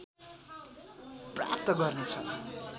प्राप्त गर्नेछ